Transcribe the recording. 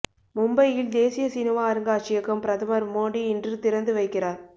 மும்பையில் தேசிய சினிமா அருங்காட்சியகம் பிரதமர் மோடி இன்று திறந்து வைக்கிறார்